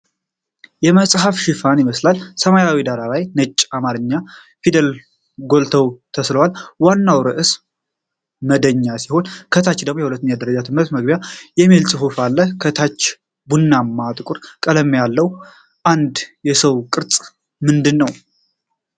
የመጽሐፍ ሽፋን ይመስላል፤ ሰማያዊው ዳራ ላይ ነጭ የአማርኛ ፊደላት ጎልተው ተስሏል። ዋናው ርዕስ 'መደኛ' ሲሆን፣ ከታች 'የሁለተኛ ደረጃ ትምህርት መግቢያ' የሚል ጽሑፍ አለ። ከታች ቡናማና ጥቁር ቀለም ያለው የአንድ ሰው ቅርጽ ምንድነው?